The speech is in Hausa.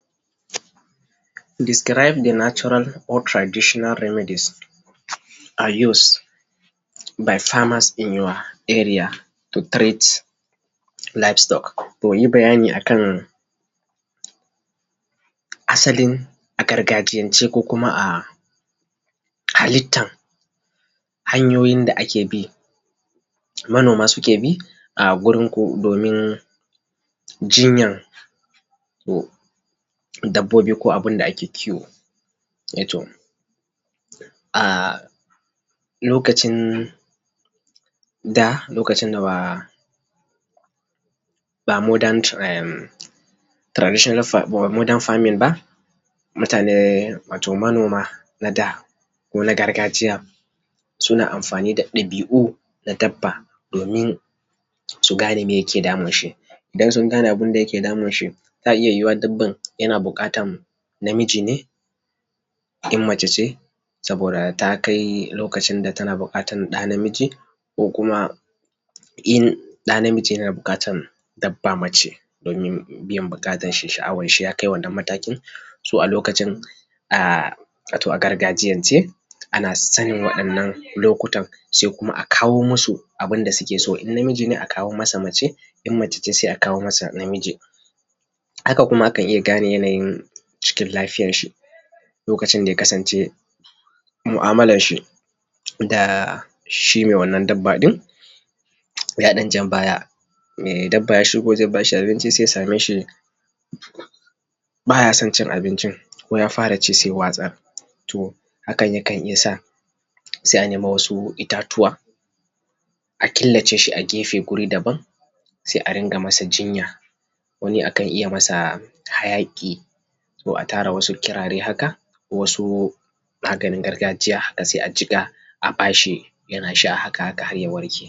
Describe the natural or traditional remidies are use by farmers in your area to trade livestock. Yi bayani a kan asalin a gargajiyance ko kuma a halittan hanyoyin da ake bi, manoma su ke bi, a gurin domin jinyan dabbobi ko abun da ake kiwo. Eh to a lokacin da lokacin da lokaci da ba modern by modern traditional farming ba modern farming ba, mutane wato manoma na da, ko na gargajiya suna amfani da dabi’u na dabba domin su gane miye yake damun shi. Idan sun gane abun da yake damun shi. iya yuwuwa dabban yana buƙatan namiji ne, in mace ce saboda ta kai lokacin da tana buƙatan ɗa namiji, ko kuma in ɗa namiji yana buƙatan dabba mace, domin biyan bukatan shi sha’awan shi ya kai wannan mataki, to a lokacin a wato a gargajiyance ana son wa’innan lokutan sai kuma a kawo musu abunda suke so. In namiji ne a kawo masa mace. In mace ce sai a kawo mata namiji haka kuma akan iya gane yanayin cikin lafiyar shi lokacin da yakasance mu’amalan shi da shi mai wannan dabba ɗin ya dan jan baya, mai dabba ya shigo zai ba shi abinci sai ya same shi baya son cin abincin. Ko ya fara ci sai ya watsar. To hakan yakan iya sa sai a nemo wasu itatuwa a killace shi a gefe guri daban, sai a riƙa masa jinya. Wani akan iya masa ta hayaki ko a tara wasu ƙirare haka, ko wasu maganin gargajiya haka, sai a jiƙa haka a ba shi yanasha haka haka har ya warke.